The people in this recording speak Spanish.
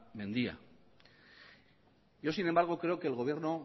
mendia yo sin embargo creo que el gobierno